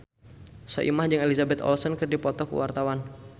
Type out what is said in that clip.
Soimah jeung Elizabeth Olsen keur dipoto ku wartawan